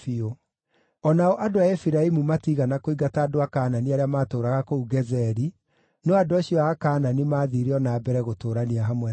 O nao andũ a Efiraimu matiigana kũingata andũ a Kaanani arĩa maatũũraga kũu Gezeri, no andũ acio a Kaanani maathiire o na mbere gũtũũrania hamwe nao.